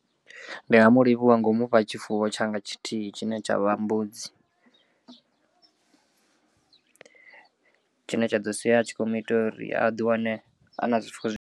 Ndi nga mu livhuwa ngo mufha tshifuwo tshanga tshithihi tshine tsha vha mbudzi, tshine tsha ḓo sia tshi kho muita uri a ḓiwane a na zwifuwo.